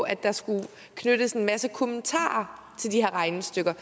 at der skulle knyttes en masse kommentarer til her regnestykker